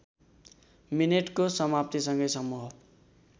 मिनेटको समाप्तिसँगै समूह